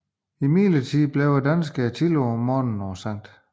Imidlertid blev danskerne tidligt om morgenen på Skt